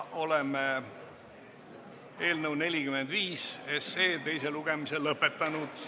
Oleme eelnõu 45 teise lugemise lõpetanud.